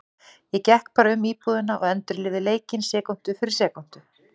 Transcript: Ég gekk bara um íbúðina og endurlifði leikinn sekúndu fyrir sekúndu.